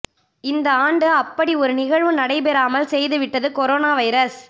இந்த ஆண்டு அப்படி ஒரு நிகழ்வு நடைபெறாமல் செய்து விட்டது கொரோனா வைரஸ்